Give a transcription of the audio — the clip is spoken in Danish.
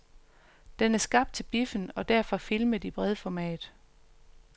Den er skabt til biffen og derfor filmet i bredformat.